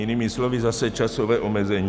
Jinými slovy zase časové omezení.